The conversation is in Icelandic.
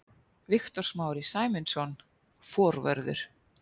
Viktor Smári Sæmundsson, forvörður.